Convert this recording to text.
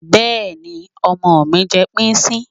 Bẹ́ẹ̀ni, ọmọ mi ń jẹ píìsì